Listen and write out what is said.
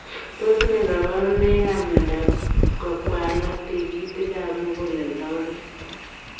Tos nee kabarunoik ap miondoop kokwalaak tigitik ap muguleldo oriit ?